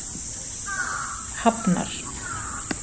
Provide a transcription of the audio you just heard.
Hafnar